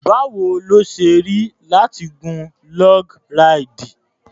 Báwo ló ṣe rí láti gun log ráìdì?